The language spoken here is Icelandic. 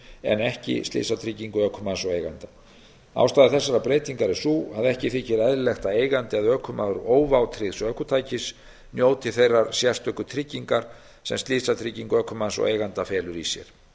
en ekki slysatryggingu ökumanns og eiganda ástæða þessarar breytingar er sú að ekki þykir eðlilegt að eigandi eða ökumaður óvátryggðs ökutækis njóti þeirrar sérstöku tryggingar sem slysatrygging ökumanns og eiganda felur í sér